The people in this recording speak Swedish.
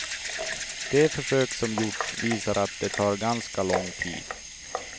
De försök som gjorts visar att det tar ganska lång tid.